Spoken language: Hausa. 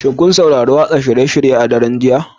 Shin kun saurari watsa shirye-shiryen a daren jiya?